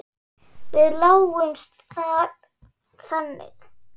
Við lásum það þannig.